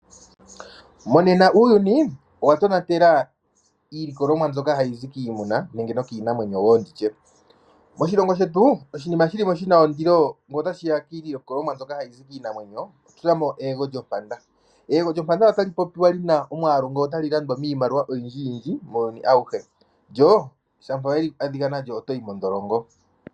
Monena uuyuni owatonatela iilikolomwa mbyoka hayi zi kiimuna nenge nokiinamwenyo wo nditye. Moshilongo shetu oshinima shilimo shina ondilo ngele otashiya kiilikolomwa mbyoka hayi zi kiinamwenyo, otunamo eyego lyompanda. Eyego lyompanda otali popiwa lina omwaalu ngele otali landwa miimaliwa oyindji yindji muuyuni awuhe, lyo shampa wa adhika nalyo otoyi modholongo.